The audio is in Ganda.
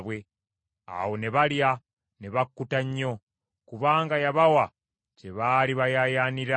Awo ne balya ne bakkuta nnyo; kubanga yabawa kye baali bayaayaanira.